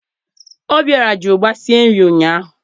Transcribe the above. Obiọra ji ụgba sie nri ụnyaahụ